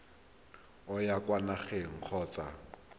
o ya kwa nageng kgotsa